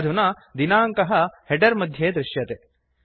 अधुना दिनाङ्कः हेडर् मध्ये दृश्यते